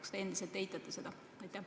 Kas te endiselt eitate seda?